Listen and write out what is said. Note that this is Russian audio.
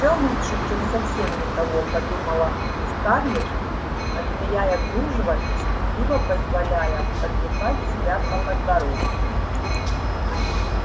всё лучше чем совсем никого подумала скарлетт отмеряя кружево и стыдливо позволяя потрепать себя по подбородку